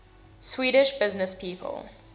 swedish businesspeople